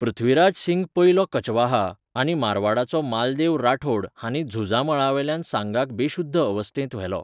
पृथ्वीराजसिंह पयलो कचवाहा आनी मारवाडाचो मालदेव राठोड हांणी झुजा मळावेल्यान सांगाक बेशुध्द अवस्थेंत व्हेल्लो.